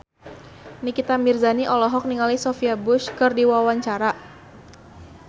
Nikita Mirzani olohok ningali Sophia Bush keur diwawancara